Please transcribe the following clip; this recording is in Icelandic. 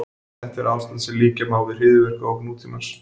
Þetta er ástand sem líkja má við hryðjuverkaógn nútímans.